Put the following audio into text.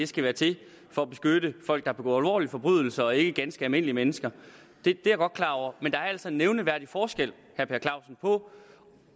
skal være til for at beskytte folk der begår alvorlige forbrydelser og ikke ganske almindelige mennesker men der er altså en nævneværdig forskel på